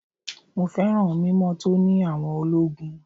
Mọ féràn mímọ́ tóní àwọn ológun.